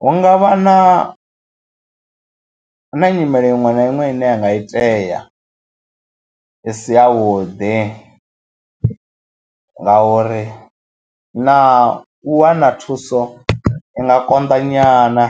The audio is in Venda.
hu nga vha na na nyimele iṅwe na iṅwe ine i nga itea i si yavhuḓi ngauri na u wana thuso i nga konḓa nyana.